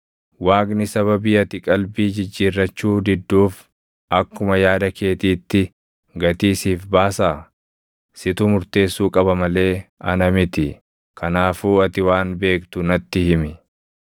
Waaqni sababii ati qalbii jijjiirrachuu didduuf akkuma yaada keetiitti gatii siif baasaa? Situ murteessuu qaba malee ana miti; kanaafuu ati waan beektu natti himi.